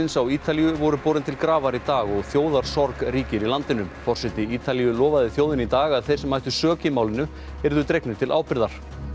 á Ítalíu voru borin til grafar í dag og ríkir í landinu forseti Ítalíu lofaði þjóðinni í dag að þeir sem ættu sök í málinu yrðu dregnir til ábyrgðar